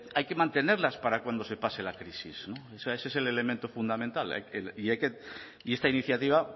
hay que mantenerlas para cuando se pase la crisis o sea ese es el elemento fundamental y esta iniciativa